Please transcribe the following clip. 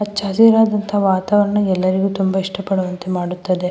ಹಚ್ಚ ಹಸಿರಾದಂತಹ ವಾತಾವರಣ ಎಲ್ಲರಿಗು ತುಂಬ ಇಷ್ಟವಾಗುವಂತೆ ಮಾಡುತ್ತದೆ.